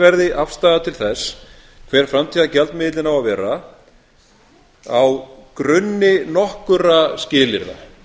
verði afstaða til þess hver framtíðargjaldmiðillinn á að vera á grunni nokkurra skilyrða